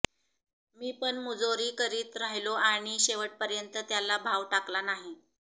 मी पण मुजोरी करीत राहिलो आणि शेवटपर्यन्त त्याला भाव टाकला नाही